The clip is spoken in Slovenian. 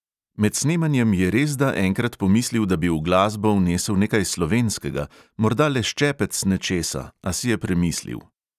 Med snemanjem je resda enkrat pomislil, da bi v glasbo vnesel nekaj slovenskega, morda le ščepec nečesa, a si je premislil.